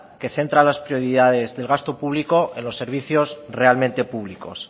que centra las prioridades del gasto público en los servicios realmente públicos